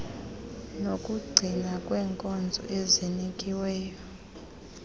nokugcinakala kwenkonzo ezinikiweyo